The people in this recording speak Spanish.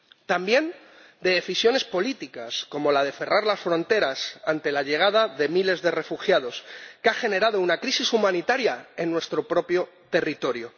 también decisiones políticas, como la de cerrar las fronteras ante la llegada de miles de refugiados, que ha generado una crisis humanitaria en nuestro propio territorio.